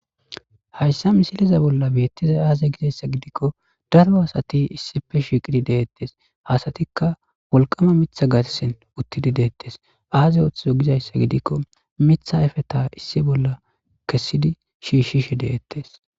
Hayssa misiliza bolla beettiza aaze gizayssa gidikko daro asati issife shiiqidi deettes hasatikka wolqama mitha gatsen uttidi deettes aaze ooththizo gizayssa gidikko mitha ayfe ta issi bolla kessidi shiishshishe deettes.